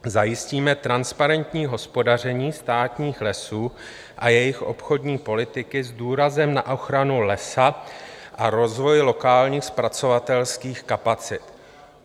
Zajistíme transparentní hospodaření státních lesů a jejich obchodní politiky s důrazem na ochranu lesa a rozvoj lokálních zpracovatelských kapacit.